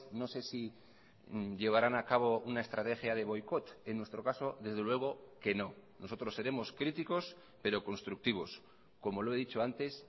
no sé si llevarán a cabo una estrategia de boicot en nuestro caso desde luego que no nosotros seremos críticos pero constructivos como lo he dicho antes